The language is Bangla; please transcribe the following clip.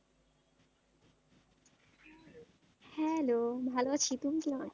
Hello ভালো আছি তুমি কিরকম আছো?